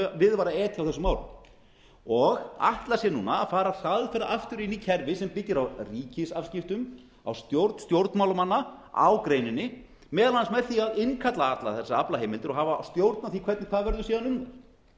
við var að etja á þessum árum og ætla sér núna að fara hraðferð aftur inn í kerfi sem byggir á ríkisafskiptum á stjórn stjórnmálamanna á greininni meðal annars með því að innkalla allar þessar aflaheimildir og hafa stjórn á því hvernig það verður síðan unnið